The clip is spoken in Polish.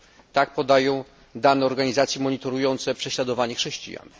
Tak podają dane organizacji monitorujących prześladowania chrześcijan.